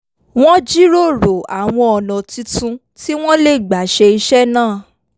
wọ́n jíròrò àwọn ọ̀nà tuntun tí wọ́n lè gbà ṣe iṣẹ́ náà